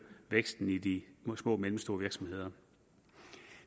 væksten i de små og mellemstore virksomheder